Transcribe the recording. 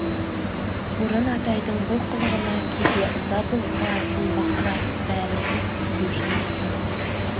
бұрын атайдың бұл қылығына кейде ыза болып қалатын бақса бәрі бос түсінбеушілік екен ғой